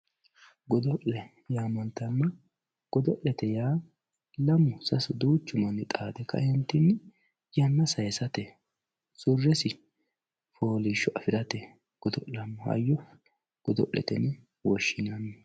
godo'le yaamantanno godo'lete yaa lamu sasu duuchu manni xaade ka"eentinni yanna saysate surresi fooliishsho afirate godo'lanno hayyo godo'lete yine woshshinanni.